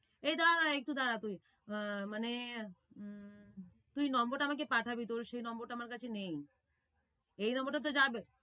এই দাঁড়া, একটু দাঁড়া তুই। মানে তুই number টা আমাকে পাঠাবি, তোর সেই number টা আমার কাছে নেই, এই number টা তো যাবে।